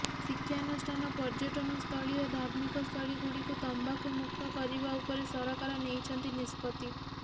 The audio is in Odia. ଶିକ୍ଷାନୁଷ୍ଠାନ ପର୍ଯ୍ୟଟନ ସ୍ଥଳୀ ଓ ଧାର୍ମିକ ସ୍ଥଳୀ ଗୁଡିକ ତମ୍ବାଖୁ ମୁକ୍ତ କରିବା ଉପରେ ସରକାର ନେଇଛନ୍ତି ନିଷ୍ପତ୍ତି